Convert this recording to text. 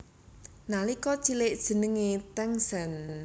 Nalika cilik jenengé Tangsen